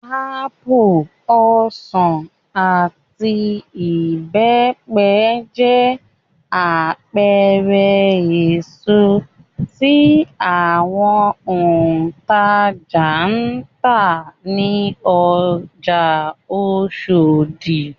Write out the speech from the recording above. Ápù, ọsàn, àti ìbẹ́pẹ jẹ́ àpẹẹrẹ èso tí àwọn òǹtajà ń tà ní ọjà Oṣòdì.